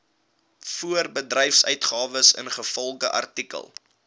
voorbedryfsuitgawes ingevolge artikel